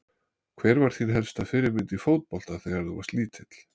Hver var þín helsta fyrirmynd í fótbolta þegar þú varst lítill?